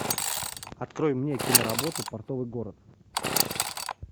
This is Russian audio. открой мне киноработу портовый город